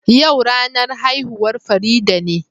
Yau ranan haihuwan Farida ne.